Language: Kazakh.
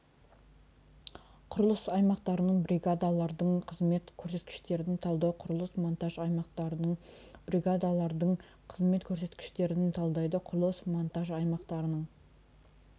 құрылыс аймақтарының бригадалардың қызмет көрсеткіштерін талдау құрылыс монтаж аймақтарының бригадалардың қызмет көрсеткіштерін талдайды құрылыс монтаж аймақтарының